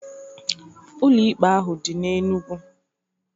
Ụlọ ikpe ahụ dị na Enugu.